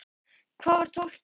Hvað var tólfti?